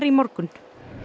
í morgun